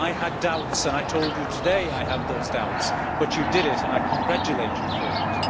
I had doubts and I told you today that I had those doubts, but you did it and I congratulate you for it.